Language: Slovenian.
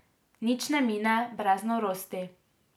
Nič ne mine brez Norosti.